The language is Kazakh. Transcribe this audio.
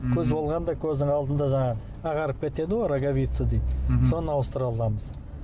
көз болғанда көздің алдында жаңағы ағарып кетеді ғой роговица дейді мхм соны ауыстыра аламыз